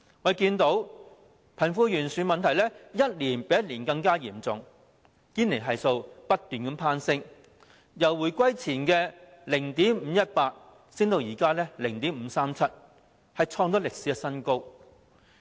我們看到貧富懸殊的問題一年較一年嚴重，堅尼系數不斷攀升，由回歸前的 0.518 上升至現時的 0.537， 創歷史新高。